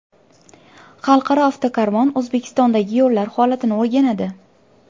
Xalqaro avtokarvon O‘zbekistondagi yo‘llar holatini o‘rganadi.